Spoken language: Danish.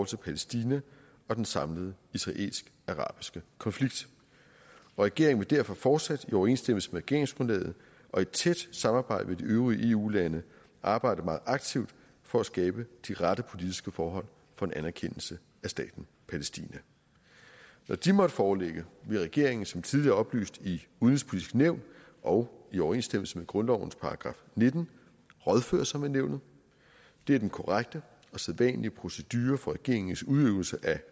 til palæstina og den samlede israelsk arabiske konflikt og regeringen derfor fortsat i overensstemmelse med regeringsgrundlaget og i tæt samarbejde med de øvrige eu lande arbejde meget aktivt for at skabe de rette politiske forhold for en anerkendelse af staten palæstina når de måtte foreligge vil regeringen som tidligere oplyst i udenrigspolitisk nævn og i overensstemmelse med grundlovens § nitten rådføre sig med nævnet det er den korrekte og sædvanlige procedure for regeringens udøvelse af